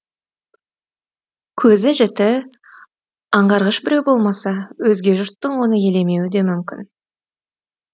көзі жіті аңғарғыш біреу болмаса өзге жұрттың оны елемеуі де мүмкін